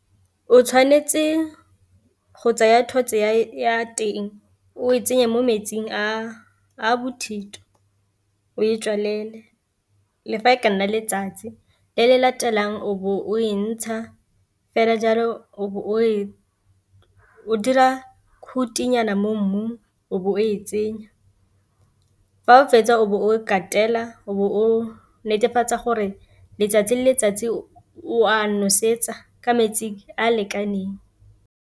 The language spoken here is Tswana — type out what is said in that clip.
O tshwanetse go tsaya thotse ya teng o e tsenye mo metsing a bothito, o e tswalele le fa e ka nna letsatsi le le latelang o bo o e ntsha fela jalo, o be o dira khutinyana mo mmung o bo o e tsenya, fa o fetsa o bo o katela o netefatsa gore letsatsi le letsatsi o a nosetsa ka metsi a a lekaneng.